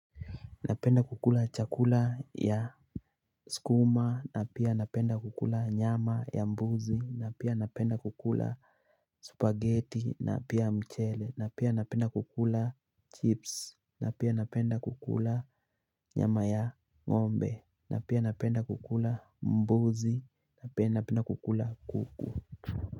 Napenda kukula chakula ya sukuma na pia napenda kukula nyama ya mbuzi na pia napenda kukula spaghetti na pia mchele na pia napenda kukula chips na pia napenda kukula nyama ya ng'ombe na pia napenda kukula mbuzi na pia napenda kukula kuku.